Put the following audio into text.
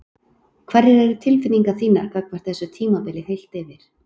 Hverjar eru tilfinningar þínar gagnvart þessu tímabili heilt yfir?